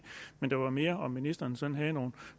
men det var mere at om ministeren sådan havde